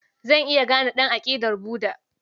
Zan iya gane ɗan aƙidar Buda.